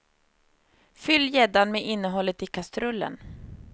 Fyll gäddan med innehållet i kastrullen.